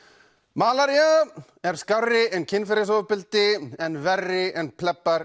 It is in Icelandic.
malaría er skárri en kynferðisofbeldi en verri en